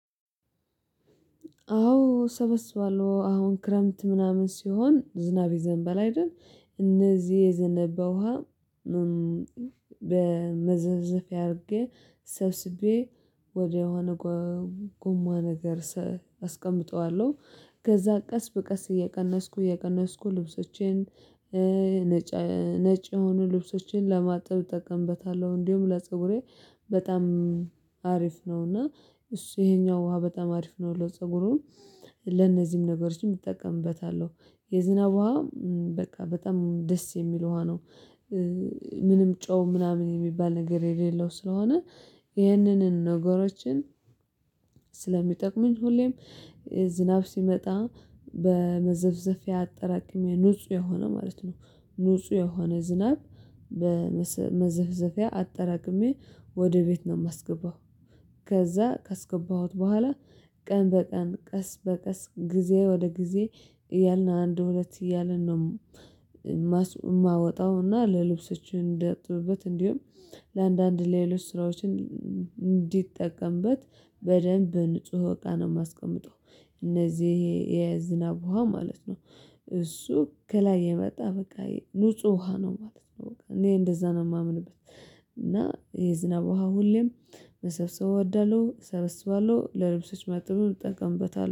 አዎ እሰበስባለሁ። አሁን ክረምት ምናምን ሲሆን ዝናብ ይዘንባል አይደል? እነዚህ የዘነበ ውሃ በመዘፍዘፊያ አድርጌ ሰብስቤ ወደሆነ ጎማ ነገር ሰ አስቀምጠዋለሁ። ከዛ ቀስ በቀስ እየቀነስኩ እየቀነስኩ ልብሶቼን ነጭ ነጭ የሆኑ ልብሶቼን ለማጥብ እጠቀምበታለሁ። እንዲሁ ለፀጉሬ በጣም አሪፍ ነው። እና እሱ ይሄኛው ውሃ በጣም አሪፍ ነው። ሁሉ ፀጉሩን ለነዚህም ነገሮችን ይጠቀምበታል። የዝናብ ውሃ በቃ በጣም የሚለው ውሃ ነው። ምንም ጮው ምናምን የሚባል ነገር የሌለው ስለሆነ ይህንንም ነገሮችን ስለሚጠቅሙኝ ሁሌም ዝናብ ሲመጣ በመዘፍዘፊያ አጠራቅሜ ንጹህ የሆነ ማለት ነው ንጹህ የሆነ ዝናብ በመዘፍዘፊያ አጠራቅሜ ወደ ቤት ነው የማስገባው። ከዛ ከስገባሁት በኋላ ቀን በቀን፣ ቀስ በቀስ፣ ጊዜ ወደ ጊዜ፣ ያልነው አንድ፣ ሁለት እያልን ነው። ማወጣውና ለልብሶች እንደጠበበት እንዲሁም ለአንዳንድ ሌሎች ስራዎችን እንዲጠቀምበት በደንብ በንጹህ ወቃ ነው የማስቀምጠው። እነዚህ የዝናብ ውሃ ማለት ነው እሱ ከላይ የመጣ በቃ ንጹህ ውሃ ነው። ማለት ነው እኔ እንደዛ ነው የማምንበት እና የዝናብ ውሃ ሁሌም መሰብሰብ ወደሉ እሰብስባሉ ለልብሶች ማጥበው እጠቀምበታለሁ።